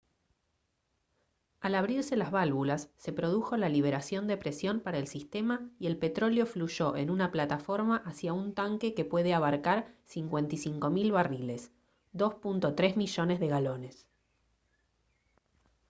al abrirse las válvulas se produjo la liberación de presión para el sistema y el petróleo fluyó en una plataforma hacia un tanque que puede abarcar 55 000 barriles 2.3 millones de galones